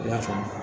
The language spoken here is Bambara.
I y'a faamu